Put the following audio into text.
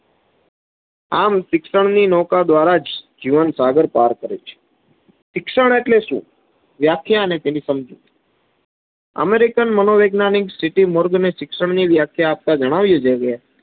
આમ શિક્ષણની નૌકા દ્વારા જ જીવન સાગર પાર કરે છે. શિક્ષણ આટલે શું? વ્યાખ્યા અને તેની સમજૂતી. અમેરિકન વૈજ્ઞાનીક સ્થીતી મોર્ગન એ જણાવ્યુ છે કે,